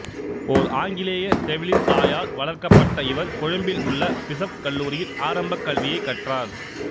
ஓர் ஆங்கிலேய செவிலித் தாயால் வளர்க்கப்பட்ட இவர் கொழும்பில் உள்ள பிசப்கல்லூரியில் ஆரம்பக் கல்வியைக் கற்றார்